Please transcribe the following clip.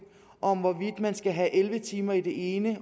om hvorvidt man skal have elleve timer i det ene